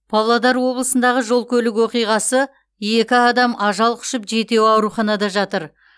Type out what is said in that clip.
павлодар облысындағы жол көлік оқиғасы екі адам ажал құшып жетеуі ауруханада жатыр